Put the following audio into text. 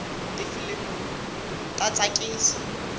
tifilimu ta tsakisa